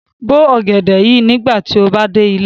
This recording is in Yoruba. Bo ogẹdẹ yii nigbati o ba de ile!